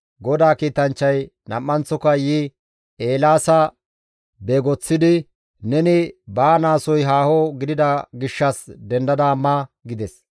GODAA kiitanchchay nam7anththoka yi Eelaasa beegoththidi, «Neni baanaasoy haaho gidida gishshas dendada ma» gides.